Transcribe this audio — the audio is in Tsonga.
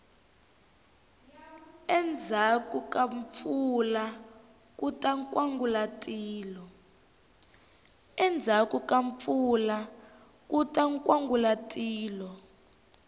endzhaku ka mpfula kuta nkwangulatilo